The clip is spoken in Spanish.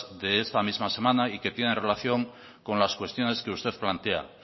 de esta misma semana y que tienen relación con las cuestiones que usted plantea